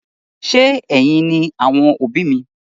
Ṣe ẹyìn ni àwọn òbí mi?